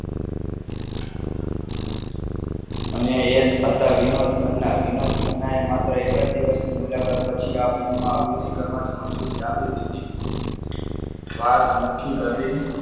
અને એ હતા વિનોદ ખન્ના વિનોદ ખન્ના એ માત્ર એક જ દિવસ મુલાકાત પછી આ film માં આપીને કરવાની મંજૂરી આપી દીધી. વાત મૌખિક હતી.